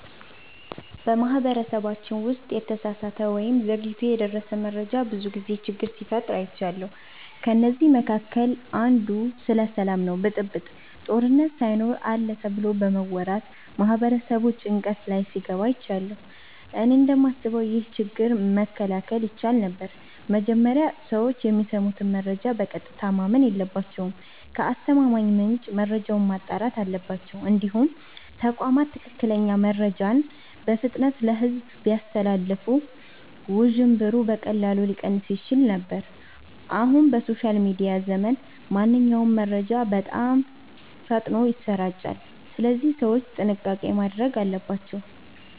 በማህበረሰባችን ውስጥ የተሳሳተ ወይም ዘግይቶ የደረሰ መረጃ ብዙ ጊዜ ችግር ሲፈጥር አይቻለሁ። ከእነዚህ መካከል አንዱ ስለ ሰላም ነው ብጥብጥ፣ ጦርነት ሳይኖር አለ ተብሎ በመወራት ማህበረሰቡ ጭንቀት ላይ ሲገባ አይቻለሁ። እኔ እንደማስበው ይህ ችግር መከላከል ይቻል ነበር። መጀመሪያ ሰዎች የሚሰሙትን መረጃ በቀጥታ ማመን የለባቸውም። ከአስተማማኝ ምንጭ መረጃውን ማጣራት አለባቸው። እንዲሁም ተቋማት ትክክለኛ መረጃን በፍጥነት ለሕዝብ ቢያስተላልፉ ውዥንብሩ በቀላሉ ሊቀንስ ይችል ነበር። አሁን በሶሻል ሚዲያ ዘመን ማንኛውም መረጃ በጣም ፈጥኖ ይሰራጫል፣ ስለዚህ ሰዎች ጥንቃቄ ማድረግ አለባቸው።